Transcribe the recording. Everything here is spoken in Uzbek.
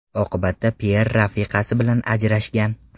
Oqibatda Pyer rafiqasi bilan ajrashgan.